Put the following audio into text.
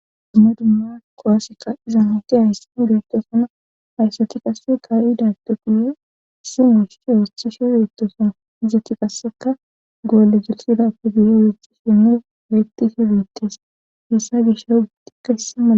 dumma dumma qowasseka iza mayti hayssan beettosona hayssati qasse ka7idagde guye si mush ooshthisho beettosona hizzati qasseka goolle girsidappe duyo weethxi shinne betisi wiittes hessa gishaw gittikka hissi mala